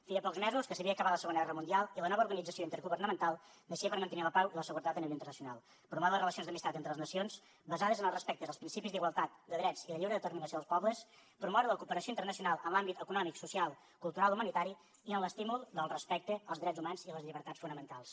feia pocs mesos que s’havia acabat la segona guerra mundial i la nova organització intergovernamental naixia per mantenir la pau i la seguretat a nivell internacional promoure les relacions d’amistat entre les nacions basades en el respecte als principis d’igualtat de drets i de lliure determinació dels pobles promoure la cooperació internacional en l’àmbit econòmic social cultural i humanitari i en l’estímul del respecte als drets humans i les llibertats fonamentals